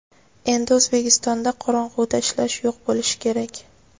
Endi O‘zbekistonda qorong‘uda ishlash yo‘q bo‘lishi kerak.